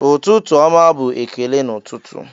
"Ụtụtụ ọma" bụ ekele n'ụtụtụ.